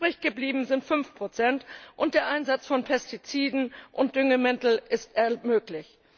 Übrig geblieben sind 5 und der Einsatz von Pestiziden und Düngemittel ist möglich.